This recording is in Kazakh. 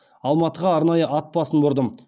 алматыға арнайы ат басын бұрдым